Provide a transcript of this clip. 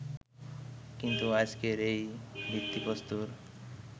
কিন্তু আজকের এই ভিত্তিপ্রস্তর